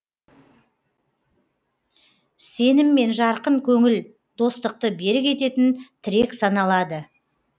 сенім мен жарқын көңіл достықты берік ететін тірек саналады